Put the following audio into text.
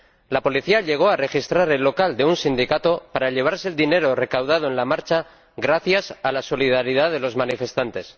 ¡La policía llegó a registrar el local de un sindicato para llevarse el dinero recaudado en la marcha gracias a la solidaridad de los manifestantes!